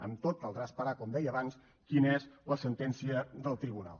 amb tot caldrà esperar com deia abans quina és la sentència del tribunal